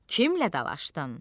Kimlə dalaşdın?